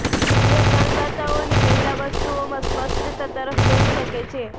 જે કરદાતાઓની પહેલાં વસ્તુઓમાં સ્પષ્ટતા તરફ દોરી શકે છે